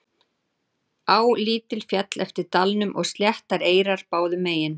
Á lítil féll eftir dalnum og sléttar eyrar báðum megin.